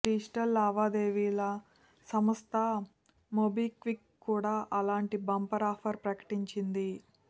digital లావాదేవీల సంస్థ MobiKwik కూడా అలాంటి బంపర్ ఆఫర్ ప్రకటించింది